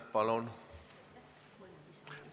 Palun!